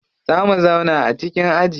Za mu zauna a cikin aji.